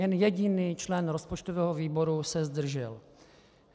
Jen jediný člen rozpočtového výboru se zdržel.